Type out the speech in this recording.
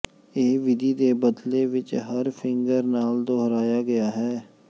ਇਹ ਵਿਧੀ ਦੇ ਬਦਲੇ ਵਿੱਚ ਹਰ ਫਿੰਗਰ ਨਾਲ ਦੁਹਰਾਇਆ ਗਿਆ ਹੈ